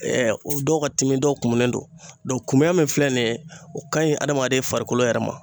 dɔw ka timi, dɔw kumunen don kumuya min filɛ nin ye, o kaɲi adamaden farikolo yɛrɛ ma.